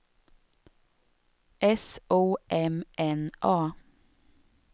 S O M N A